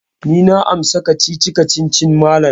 Eh, ni na amsa kacici-kacicin malam.